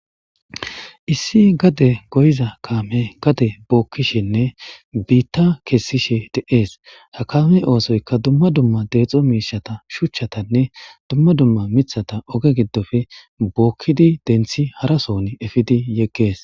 Issi gade goyiza kaame gade bookkishenne biitta kessishe de7ees ha kaamey oosoyka dumma dumma deexo miishata shuchchatanne dumma dumma mithata oge giddofe bookkidi denthi harason efidi yeggees.